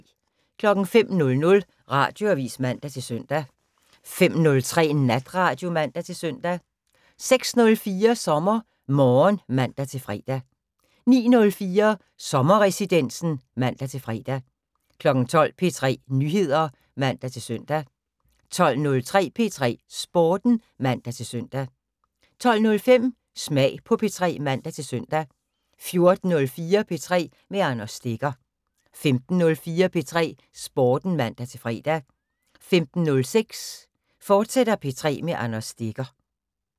05:00: Radioavis (man-søn) 05:03: Natradio (man-søn) 06:04: SommerMorgen (man-fre) 09:04: Sommerresidensen (man-fre) 12:00: P3 Nyheder (man-søn) 12:03: P3 Sporten (man-søn) 12:05: Smag på P3 (man-søn) 14:04: P3 med Anders Stegger 15:04: P3 Sporten (man-fre) 15:06: P3 med Anders Stegger, fortsat